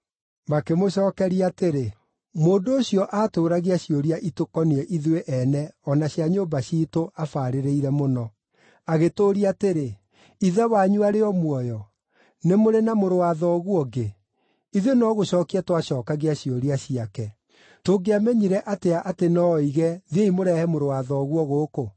Makĩmũcookeria atĩrĩ, “Mũndũ ũcio aatũũragia ciũria itũkoniĩ ithuĩ ene o na cia nyũmba ciitũ abarĩrĩire mũno. Agĩtũũria atĩrĩ, ‘Ithe wanyu arĩ o muoyo? Nĩ mũrĩ na mũrũ wa thoguo ũngĩ?’ Ithuĩ no gũcookia twacookagia ciũria ciake. Tũngĩamenyire atĩa atĩ no oige, ‘Thiĩi mũrehe mũrũ wa thoguo gũkũ?’ ”